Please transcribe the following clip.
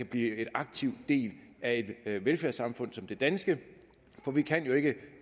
blive en aktiv del af et velfærdssamfund som det danske for vi kan jo ikke